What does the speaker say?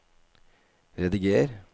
rediger